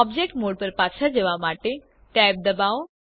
object mode પર પાછા જવા માટે tab ડબાઓ